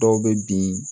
Dɔw bɛ bin